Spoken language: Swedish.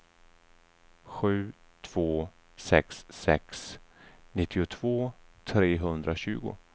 sju två sex sex nittiotvå trehundratjugo